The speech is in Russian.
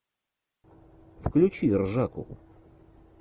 включи ржаку